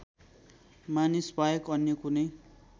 मानिसबाहेक अन्य कुनै